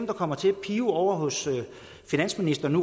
kommer til at pibe ovre hos finansministeren